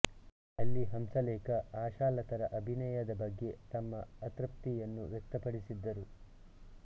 ಅಲ್ಲಿ ಹಂಸಲೇಖ ಆಶಾಲತರ ಅಭಿನಯದ ಬಗ್ಗೆ ತಮ್ಮ ಅತೃಪ್ತಿಯನ್ನು ವ್ಯಕ್ತಪಡಿಸಿದ್ದರು